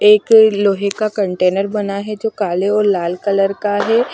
एक लोहे का कंटेनर बना है जो काले और लाल कलर का है।